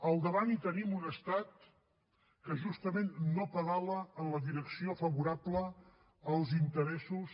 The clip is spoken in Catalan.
al davant hi tenim un estat que justament no pedala en la direcció favorable als interessos